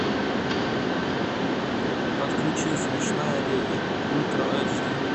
подключи смешная леди ультра эйч ди